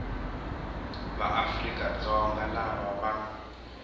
va afrika dzonga lava va